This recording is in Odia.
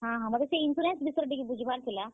ହଁ ହଁ, ମତେ ସେ insurance ବିଷୟରେ ଟିକେ ବୁଝବାର ଥିଲା।